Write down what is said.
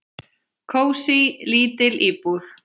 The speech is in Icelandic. Kósí, lítil íbúð.